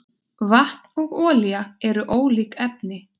Vatn og olía eru ólík efni.